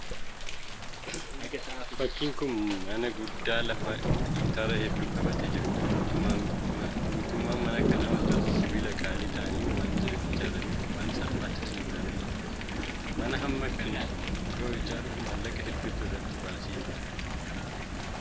Fakkiin kun mana guddaa lafa hektaara hedduu qabatee jiruudha. Guutumaan mana kanaa wantoota sibiila qaalii ta'aaniin waan ijaarameef waan salphaatti xumurame miti. Mana hamma kana gahu ijaaruuf maallaqa hedduutu irratti baasii ta'a.